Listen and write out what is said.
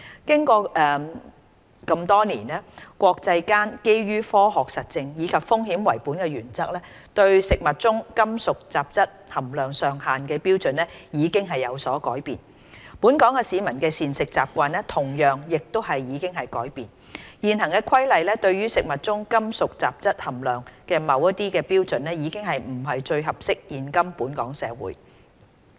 經過這麼多年，國際間基於科學實證，以及"風險為本"的原則對食物中金屬雜質含量上限的標準已經有所改變，本港市民的膳食習慣同樣亦已改變，現行《規例》對食物中金屬雜質含量的某些標準已不是最適合現今本港社會。